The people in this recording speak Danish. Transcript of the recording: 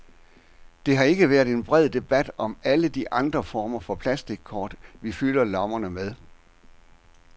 Der har ikke været en bred debat om alle de andre former for plastickort, vi fylder lommerne med.